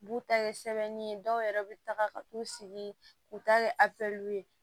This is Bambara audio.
U b'u ta kɛ sɛbɛnni ye dɔw yɛrɛ bɛ taga ka t'u sigi k'u ta kɛ a pere ye